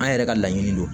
An yɛrɛ ka laɲini don